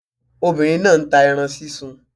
Obìnrin náà nta ẹran sísun